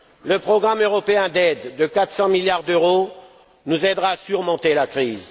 Le programme européen d'aide de 400 milliards d'euros nous aidera à surmonter la crise.